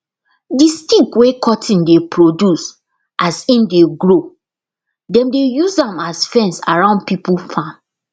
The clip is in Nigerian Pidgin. d stick wey cotton dey produce as im dey grow dem dey use am as fence around pipo farm